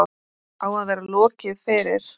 Á að vera lokið fyrir